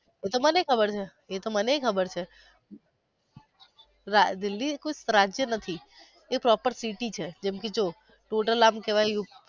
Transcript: એતો મને પણ ખબર છે એતો મને ખબર છે દિલ્હી એ કોઈ એ proper city છે જેમ કે જો tot al આમ કેવાઈ